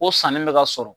O sanni bɛ ka sɔrɔ